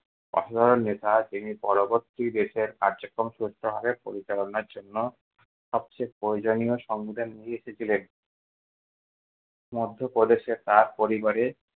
অসাধারণ নেতা যিনি পরবর্তী দেশের কার্যক্রম সুষ্ঠূভাবে পরিচালনার জন্য সবচেয়ে প্রয়োজনীয় সংবিধান নিয়ে এসে ছিলেন। মধ্যপ্রদেশে তার পরিবারে